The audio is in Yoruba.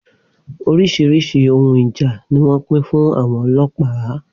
Oríṣiríṣi ohun ìjà ni wọ́n pín fún àwọn ọlọ́pàá.